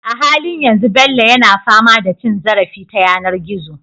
A halin yanzu Bello yana fama da cin zarafi ta yanar gizo